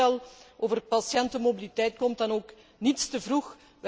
Dit voorstel over de patiëntenmobiliteit komt dan ook niets te vroeg.